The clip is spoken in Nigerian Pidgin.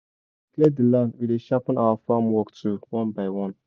clear the land we dey sharpen our farm work tool one by one.